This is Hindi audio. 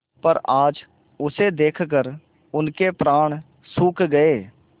पर आज उसे देखकर उनके प्राण सूख गये